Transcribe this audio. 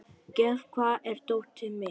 Gefn, hvar er dótið mitt?